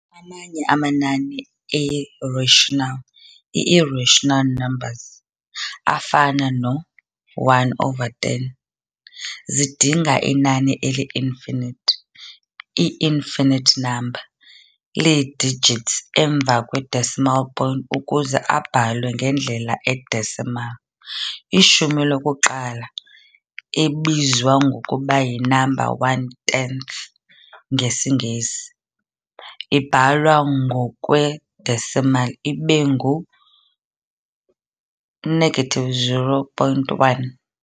Amanye amanani a-rational, ii-rational numbers, afana no-1 over 10, zidinga inani eli-infinite, i-infinite number, lee-digits emva kwe-decimal point ukuze abhalwe ngendlela e-decimal. Ishumi lokuqala, ebizwa ngokuba yi-number one tenth, ngesiNgesi, ibhalwa ngokwe-decimal ibe ngu-0.1.